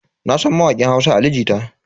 Nasan mawakin Hausa Ali Jita.